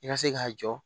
I ka se k'a jɔ